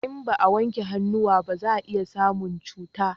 In ba a wanke hannuwa ba za a iya samun cuta